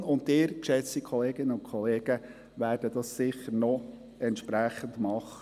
Die FIN und Sie, geschätzte Kolleginnen und Kollegen, werden dies sicher noch entsprechend machen.